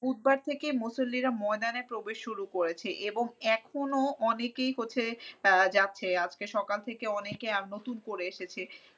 বুধবার থেকে মুসল্লিরা ময়দানে প্রবেশ শুরু করেছে এবং এখনো অনেকেই হচ্ছে আহ যাচ্ছে। আজকে সকাল থেকে অনেকে নতুন করে এসেছে।